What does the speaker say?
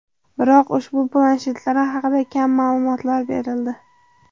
Biroq ushbu planshetlar haqida kam ma’lumotlar berildi.